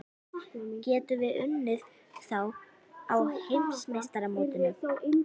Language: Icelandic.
Getum við unnið þá á Heimsmeistaramótinu?